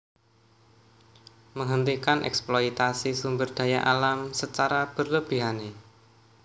Menghentikan eksploitasi sumber daya alam secara berlebihane